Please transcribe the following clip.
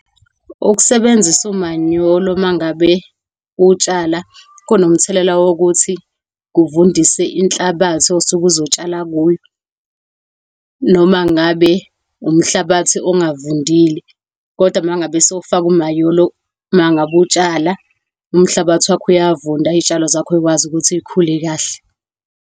Ukusebenzisa umanyolo mangabe utshala kunomthelela wokuthi kuvundise inhlabathi osuke uzotshala kuyo. Noma ngabe umhlabathi ongavundile, kodwa mangabe sowufaka umanyolo mangabe utshala umhlabathi wakho, uyavunda, izitshalo zakho zikwazi ukuthi zikhule kahle.